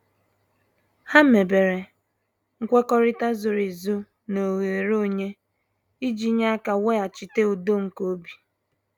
Ha mebere nkwekọrịta zoro ezo na oghere onye, iji nye aka weghachite udo nke obi.